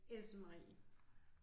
Else Marie